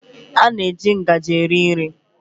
A na-eji ngaji eri nri.